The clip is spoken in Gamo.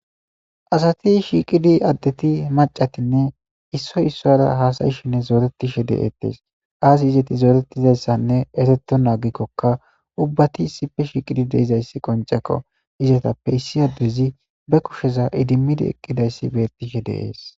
asati shiiqidi addeti macatinne issoy issora haasayishinne zooretishe de7eettees aasi izeti zooretizayssanne ereto naagikkokka ubbati issife shiiqidi deizayssi qoncekko izatappe issi addezi be kusheza idimmidi eqqidayssi bettishe deees